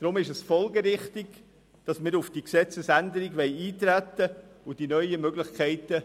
Deshalb ist es folgerichtig, dass wir auf diese Gesetzesänderung eintreten und die neuen Möglichkeiten